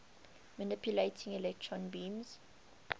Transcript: manipulating electron beams